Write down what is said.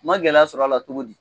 N ma gɛlɛya sɔr'ala togo di